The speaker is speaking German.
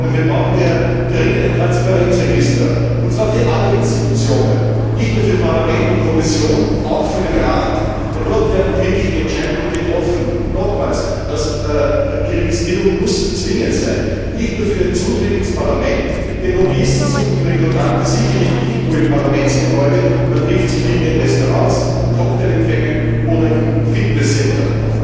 Wir brauchen daher dringend ein Transparenzregister, und zwar für alle Institutionen, nicht nur für Parlament und Kommission, auch für den Rat, denn dort werden die wirklichen Entscheidungen getroffen. Nochmals Die Registrierung muss zwingend sein, nicht nur für den Zutritt zum Parlament, denn Lobbyisten suchen ihre Kontakte sicherlich nicht nur im Parlamentsgebäude, man trifft sich vielmehr in Restaurants, bei Cocktailempfängen oder im Fitness Center.